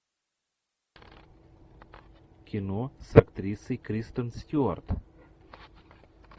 кино с актрисой кристен стюарт